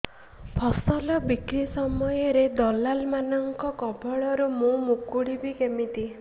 ଫସଲ ବିକ୍ରୀ ସମୟରେ ଦଲାଲ୍ ମାନଙ୍କ କବଳରୁ ମୁଁ ମୁକୁଳିଵି କେମିତି